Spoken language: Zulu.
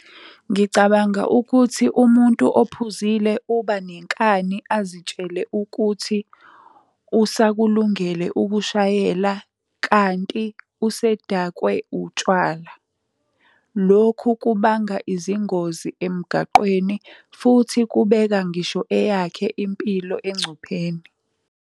Ngicabanga ukuthi umuntu ophuzile uba nenkani azitshele ukuthi usakulungele ukushayela kanti usedakwe utshwala. Lokhu kubanga izingozi emgaqweni futhi kubeka ngisho eyakhe impilo engcupheni.